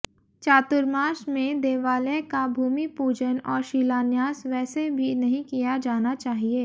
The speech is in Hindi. चातुर्मास में देवालय का भूमि पूजन और शिलान्यास वैसे भी नहीं किया जाना चाहिए